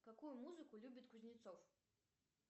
какую музыку любит кузнецов